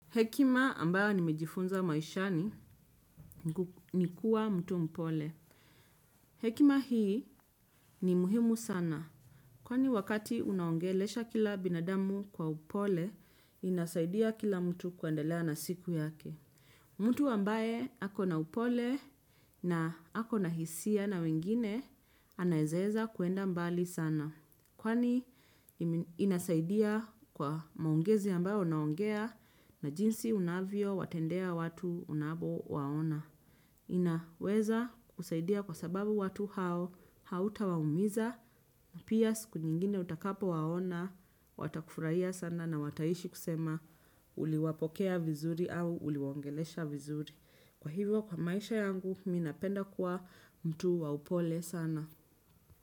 Hekima ambayo nimejifunza maishani ni kuwa mtu mpole. Hekima hii ni muhimu sana. Kwani wakati unaongelesha kila binadamu kwa upole, inasaidia kila mtu kuendelea na siku yake. Mtu ambaye ako na upole na ako na hisia na wengine, anaezaeza kuenda mbali sana. Kwani inasaidia kwa maongezi ambayo unaongea na jinsi unavyo watendea watu unapowaona. Inaweza kusaidia kwa sababu watu hao, hauta waumiza, pia siku nyingine utakapo waona, watakufurahia sana na wataishi kusema uliwapokea vizuri au uliwaongelesha vizuri. Kwa hivyo kwa maisha yangu mi napenda kwa mtu wa upole sana.